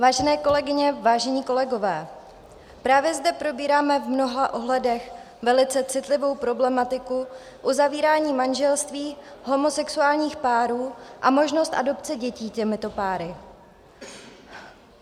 Vážené kolegyně, vážení kolegové, právě zde probíráme v mnoha ohledech velice citlivou problematiku uzavírání manželství homosexuálních párů a možnost adopce dětí těmito páry.